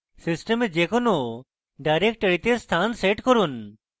system যে কোনো ডাইরেক্টরিতে স্থান set করুন